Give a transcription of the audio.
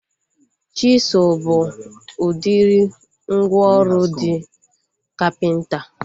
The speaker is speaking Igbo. Chisụl bụ udiri mgwooru ndị kapịnta